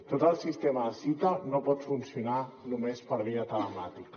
tot el sistema de cita no pot funcionar només per via telemàtica